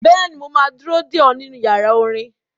Bẹ́ẹ̀ni, mo máa ma dúró dè ọ́ nínú yàrá orin.